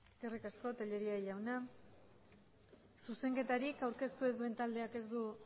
eskerrik asko tellería jauna zuzenketarik aurkeztu ez duen taldeak ez du